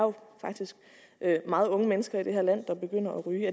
faktisk meget unge mennesker i det her land der begynder at ryge